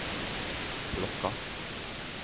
plocka